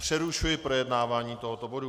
Přerušuji projednávání tohoto bodu.